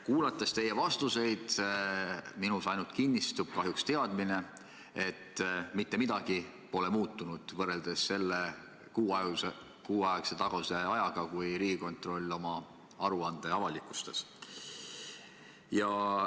Kuulates teie vastuseid, minus ainult kinnistub kahjuks teadmine, et mitte midagi pole muutunud võrreldes kuu aja taguse ajaga, kui Riigikontroll oma aruande avalikustas.